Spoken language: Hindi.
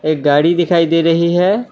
एक गाड़ी दिखाई दे रही है।